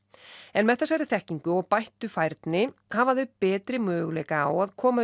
en með þessari þekkingu og bættri færni hafa þau betri möguleika á að koma